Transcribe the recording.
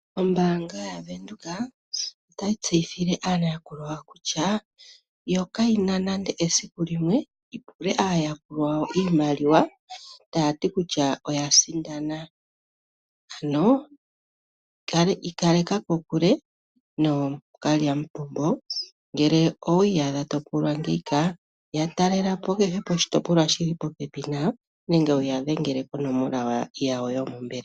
Ombaanga yaWindhoek otayi tseyithile aayakulwa yayo kutya yo kayina nande esiku limwe yipule aayakulwa yayo iimaliwa taya ti kutya oya sindana , ano ikaleka kokule nookalyamupombo. Ngele owi iyadha topulwa ngeyi ka ya talelapo kehe poshitopolwa shili popepi nayo nenge wuyadhengele ko nomola yayo yombelwa.